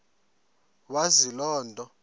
wazi loo nto